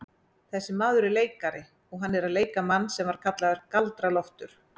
Þessi maður er leikari og hann er að leika mann sem var kallaður Galdra-Loftur.